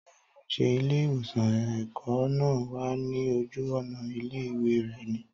Táyò, ṣe ilé ìwòsan ẹ̀kọ́ náà wà ní ojú ònà ilé ìwé rẹ ní?